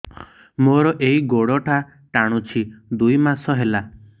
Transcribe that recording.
ମୋର ଏଇ ଗୋଡ଼ଟା ଟାଣୁଛି ଦୁଇ ମାସ ହେଲା